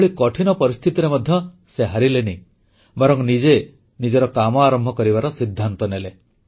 ଏଭଳି କଠିନ ପରିସ୍ଥିତିରେ ମଧ୍ୟ ସେ ହାରିଲେନି ବରଂ ନିଜେ ନିଜର କାମ ଆରମ୍ଭ କରିବାର ସିଦ୍ଧାନ୍ତ ନେଲେ